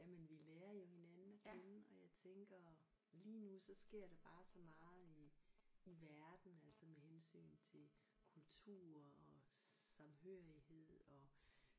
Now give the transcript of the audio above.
Jamen vi lærer jo hinanden at kende og jeg tænker lige nu så sker der bare så meget i i verden altså med hensyn til kultur og samhørighed og